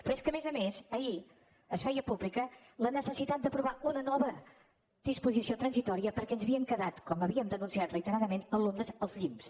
però és que a més a més ahir es feia pública la necessitat d’aprovar una nova disposició transitòria perquè ens havien quedat com havien denunciat reiteradament alumnes als llimbs